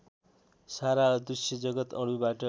सारा दृश्यजगत् अणुबाट